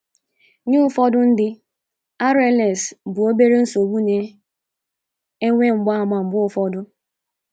Nye ụfọdụ ndị, RLS bụ obere nsogbu na - enwe mgbaàmà mgbe ụfọdụ.